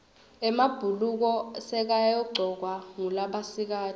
emabhuluko sekayagcokwa ngulabasikati